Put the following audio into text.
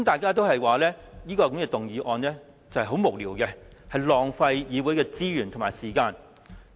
他們均認為這項議案十分無聊，會浪費議會資源和時間。